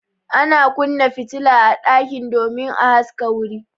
Ana kunna fitila a ɗaki domin a haska wuri.